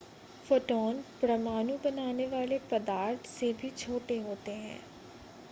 photon परमाणु बनाने वाले पदार्थ से भी छोटे होते हैं